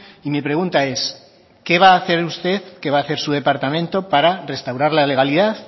y mi pregunta es qué va a hacer usted que va a hacer su departamento para restaurar la legalidad